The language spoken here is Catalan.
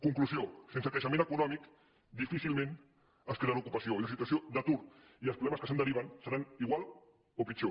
conclusió sense creixement econòmic difícilment es crearà ocupació i la situació d’atur i els problemes que se’n deriven seran igual o pitjor